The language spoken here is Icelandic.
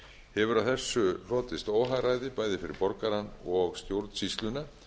hefur af þessu hlotist óhagræði bæði fyrir borgarann og stjórnsýsluna